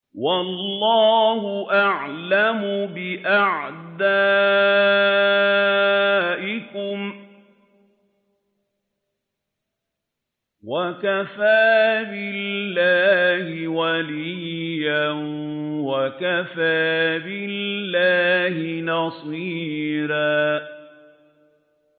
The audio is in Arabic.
وَاللَّهُ أَعْلَمُ بِأَعْدَائِكُمْ ۚ وَكَفَىٰ بِاللَّهِ وَلِيًّا وَكَفَىٰ بِاللَّهِ نَصِيرًا